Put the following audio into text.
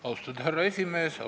Austatud härra esimees!